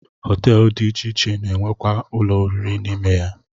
Họteelụ dị iche iche na-enwekwa ụlọoriri n'ime ya